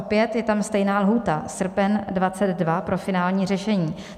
Opět je tam stejná lhůta - srpen 2022 pro finální řešení.